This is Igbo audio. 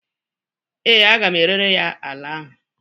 ee, a ga m erere ya ala ahụ